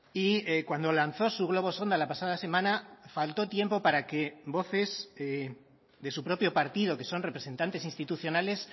y cuando lanzó su globo sonda la pasada semana faltó tiempo para que voces de su propio partido que son representantes institucionales